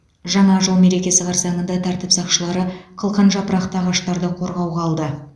жаңа жыл мерекесі қарсаңында тәртіп сақшылары қылқан жапырақты ағаштарды қорғауға алды